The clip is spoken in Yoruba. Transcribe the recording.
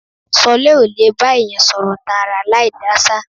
Ṣọlá ó lè bá èèyàn sọ̀rọ̀ tààrà láì dáṣà